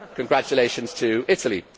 Congratulations to Italy.